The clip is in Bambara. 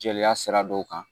Jeliya sira dɔw kan